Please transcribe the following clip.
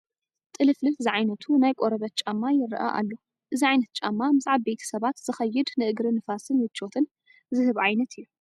ጥልፍልፍ ዝዓይነቱ ናይ ቆርበት ጫማ ይርአ ኣሎ፡፡ እዚ ዓይነት ጫማ ምስ ዓበይቲ ሰባት ዝኸይድ ንእግሪ ንፋስን ምቾትን ዝህብ ዓይነት እዩ፡፡